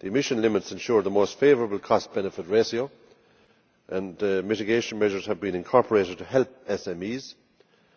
The emission limits ensure the most favourable cost benefit ratio, and mitigation measures have been incorporated to help SMEs,